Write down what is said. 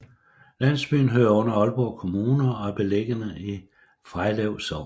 Landsbyen hører under Aalborg Kommune og er beliggende i Frejlev Sogn